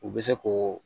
U bɛ se ko